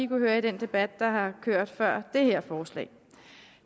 høre i den debat der har kørt før det her forslag